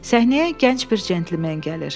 Səhnəyə gənc bir centlmen gəlir.